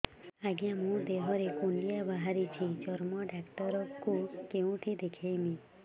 ଆଜ୍ଞା ମୋ ଦେହ ରେ କୁଣ୍ଡିଆ ବାହାରିଛି ଚର୍ମ ଡାକ୍ତର ଙ୍କୁ କେଉଁଠି ଦେଖେଇମି